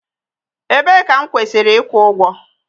Ebee ka m kwesịrị ịkwụ ụgwọ?